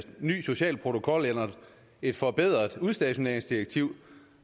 ny social protokol eller et forbedret udstationeringsdirektiv